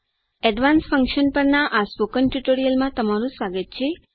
advanced functions પરના આ મૌખિક ટ્યુટોરીયલમાં તમારું સ્વાગત છે